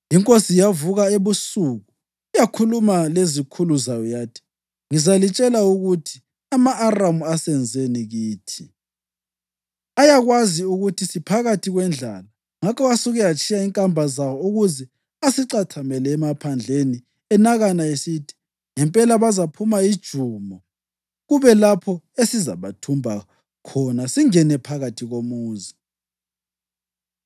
Inkosi yavuka ebusuku yakhuluma lezikhulu zayo yathi, “Ngizalitshela ukuthi ama-Aramu asenzeni kithi. Ayakwazi ukuthi siphakathi kwendlala; ngakho asuke atshiya inkamba zawo ukuze asicathamele emaphandleni enakana esithi, ‘Ngempela bazaphuma ijumo, kube lapho esizabathumba khona singene phakathi komuzi.’ ”